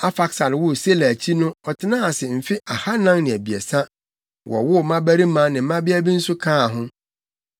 Arfaksad woo Sela akyi no ɔtenaa ase mfe ahannan ne abiɛsa, wowoo mmabarima ne mmabea bi nso kaa ho.